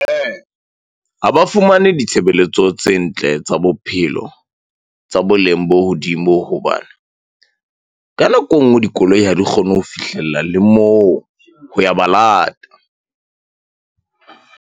Ha ba fumane ditshebeletso tse ntle tsa bophelo, tsa boleng bo hodimo hobane ka nako e nngwe, dikoloi ha di kgone ho fihlella le moo ho ya ba lata .